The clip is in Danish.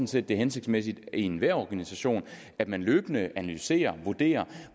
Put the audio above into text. set det er hensigtsmæssigt i enhver organisation at man løbende analyserer og vurderer